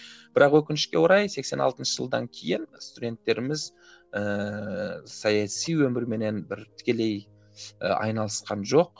бірақ өкінішке орай сексен алтыншы жылдан кейін студенттеріміз ыыы саяси өмірменен бір тікелей айналысқан жоқ